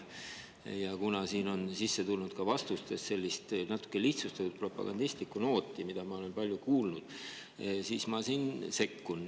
Kuna siin on sisse tulnud ka vastustes sellist natukene lihtsustatud propagandistlikku nooti, mida ma olen palju kuulnud, siis ma sekkun.